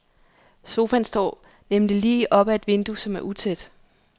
Sofaen står nemlig lige op ad et vindue, som er utæt.